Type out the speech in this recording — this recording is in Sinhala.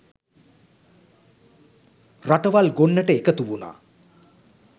රටවල් ගොන්නට එකතු වුණා.